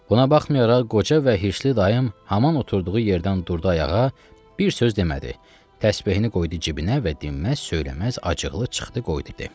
Buna baxmayaraq, qoca və hirsli dayım haman oturduğu yerdən durdu ayağa, bir söz demədi, təsbehini qoydu cibinə və dinməz-söyləməz acıqlı çıxdı getdi.